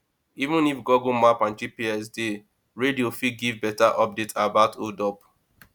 even if google map and gps dey radio fit give better update about hold up